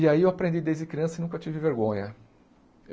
E aí eu aprendi desde criança e nunca tive vergonha.